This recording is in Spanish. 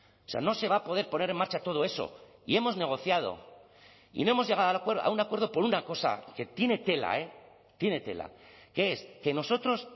o sea no se va a poder poner en marcha todo eso y hemos negociado y no hemos llegado a un acuerdo por una cosa que tiene tela eh tiene tela que es que nosotros